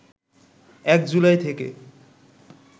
১ July থেকে